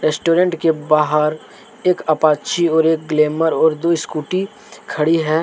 Restaurant के बाहर एक अपाची एक ग्लैमर दो स्कूटी खड़ी है।